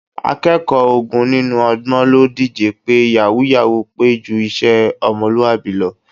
Akẹ́kọ̀ọ́ ogún nínú ọgbọ̀n ló díje pé yàwúú-yàwuù pé ju iṣẹ́ ọmọlúwàbí lọ